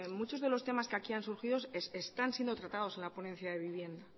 mucho de los temas que aquí han surgido están siendo tratados en la ponencia de vivienda